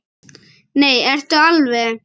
Nei, ertu alveg.